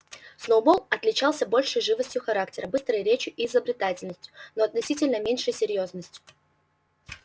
сноуболл отличался большей живостью характера быстрой речью и изобретательностью но относительно меньшей серьёзностью